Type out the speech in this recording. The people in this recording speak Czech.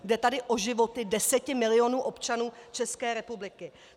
Jde tady o životy deseti milionů občanů České republiky.